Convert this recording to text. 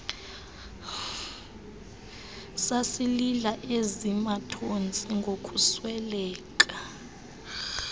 sasilila eziirnathontsi ngokusweleka